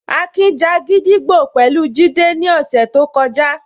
Akin ja gídígbò pẹ̀lú Jide ní ọ̀sẹ̀ tó kọjá